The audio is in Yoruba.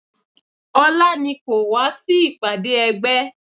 Ọlá ni kò wá sí ìpàdé ẹgbẹ́